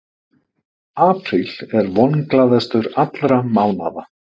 Apríl er vonglaðastur allra mánaða.